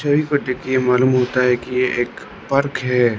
देख के ये मालूम होता है कि ये एक पार्क है।